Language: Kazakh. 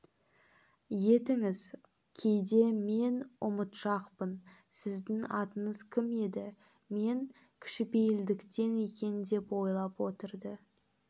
етіңіз кейде мен ұмытшақпын сіздің атыңыз кім еді емес кішіпейілденген екен деп ойлап отырды